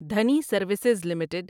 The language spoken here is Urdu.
Dhani services limited